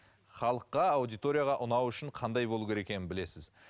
халыққа аудиторияға ұнау үшін қандай болу керек екенін білесіз